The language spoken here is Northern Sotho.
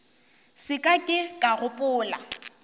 se ka ke ka gopola